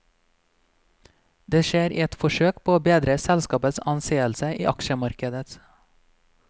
Det skjer i et forsøk på å bedre selskapets anseelse i aksjemarkedet.